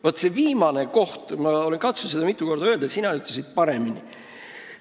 Vaat seda viimast asja ma olen katsunud mitu korda öelda, aga sina ütlesid paremini.